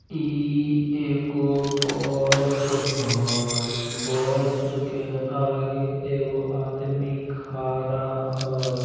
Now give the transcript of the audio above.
ई एगो बस हई बस के आगे एगो आदमी खड़ा हई।